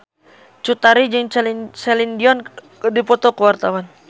Cut Tari jeung Celine Dion keur dipoto ku wartawan